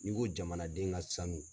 N'i ko jamanaden ka sanu